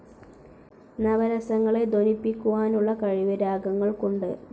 നവരസങ്ങളെ ധ്വനിപ്പിക്കാനുളള കഴിവ് രാഗങ്ങൾക്കുണ്ട്.